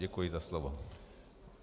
Děkuji za slovo.